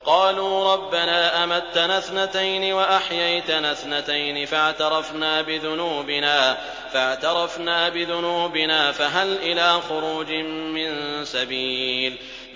قَالُوا رَبَّنَا أَمَتَّنَا اثْنَتَيْنِ وَأَحْيَيْتَنَا اثْنَتَيْنِ فَاعْتَرَفْنَا بِذُنُوبِنَا فَهَلْ إِلَىٰ خُرُوجٍ مِّن سَبِيلٍ